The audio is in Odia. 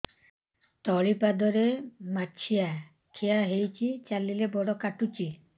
ତଳିପାଦରେ ମାଛିଆ ଖିଆ ହେଇଚି ଚାଲିଲେ ବଡ଼ କାଟୁଚି